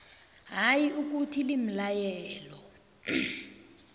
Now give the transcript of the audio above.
hayi ukuthi limlayelo